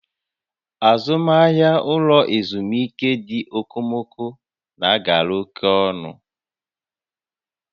Azụmahịa ụlọ ezumike ndị okomoko na agara oke ọnụ